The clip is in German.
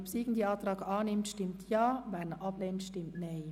Wer diesen annimmt, stimmt Ja, wer diesen ablehnt, stimmt Nein.